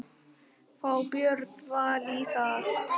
Fá Björn Val í það?